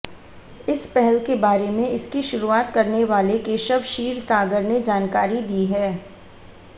इस पहल के बारे में इसकी शुरुआत करने वाले केशव क्षीरसागर ने जानकारी दी है